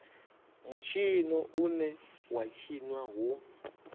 mutshino une wa tshinwa hu